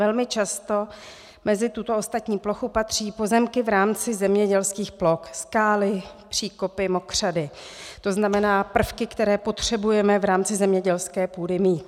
Velmi často mezi tuto ostatní plochu patří pozemky v rámci zemědělských ploch, skály, příkopy, mokřady, to znamená prvky, které potřebujeme v rámci zemědělské půdy mít.